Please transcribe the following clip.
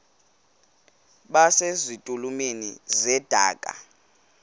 base zitulmeni zedaka